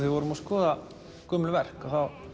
við vorum að skoða gömul verk